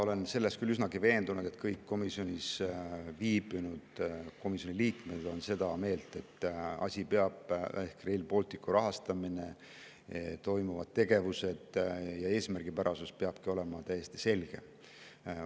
Ma olen küll üsnagi veendunud, et kõik viibinud komisjoni liikmed on seda meelt, et see asi ehk Rail Balticu rahastamine, toimuvad tegevused ja selle eesmärgipärasus peavadki olema täiesti selged.